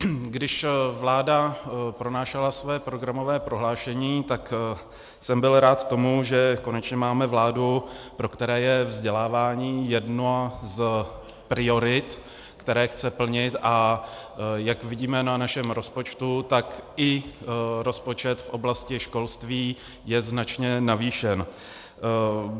Když vláda pronášela své programové prohlášení, tak jsem byl rád tomu, že konečně máme vládu, pro kterou je vzdělávání jedna z priorit, které chce plnit, a jak vidíme na našem rozpočtu, tak i rozpočet v oblasti školství je značně navýšen.